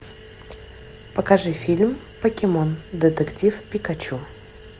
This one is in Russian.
покажи фильм покемон детектив пикачу